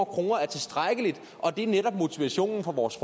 kroner er tilstrækkeligt og det er netop motivationen for vores